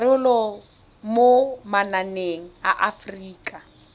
karolo mo mananeng a aforika